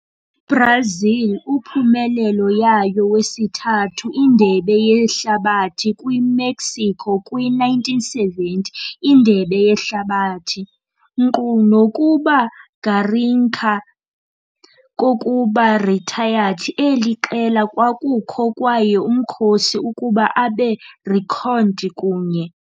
Brazil uphumelele yayo wesithathu Indebe Yehlabathi kwi-Mexico kwi - 1970 Indebe Yehlabathi. Nkqu nokuba Garrincha kokuba retired, eli qela kwakukho kwaye umkhosi ukuba abe reckoned kunye.